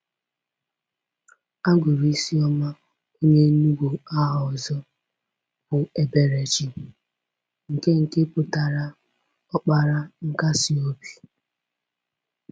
A gụrụ Isioma onye Enugu aha ọzọ bụ Eberechi, nke nke pụtara “Ọkpara Nkasi Obi.”